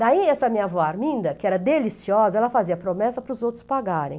Daí, essa minha avó Arminda, que era deliciosa, ela fazia promessa para os outros pagarem.